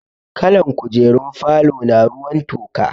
Kalan kujerun falona ruwan toka.